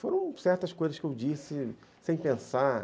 Foram certas coisas que eu disse sem pensar.